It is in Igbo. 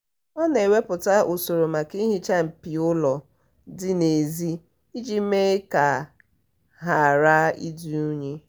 ọ na-ewepụta usoro maka ihicha mpio ụlọ dị n'ezi iji mee ka ghara ịdi unyi